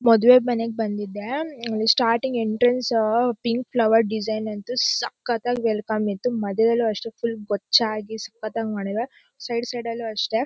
ಮದ್ವೆ ಮನೆಗ್ ಬಂದಿದ್ದೆ starting entrance pink flower design ಅಂತೂ ಸಕ್ಕತ್ವೆ ಆಗಿ ವೇಲ್ಕಮ್ ಇತ್ತು ಮದ್ವೇಗ್ ಅಷ್ಟೇ ಫುಲ್ ಗುಚ್ಛ ಆಗಿ ಸಕ್ಕತ್ ಆಗಿ ಮಾಡಿದರೆ ಸೈಡ್ ಸೈಡ್ ಅಲ್ಲೂ ಅಷ್ಟೇ--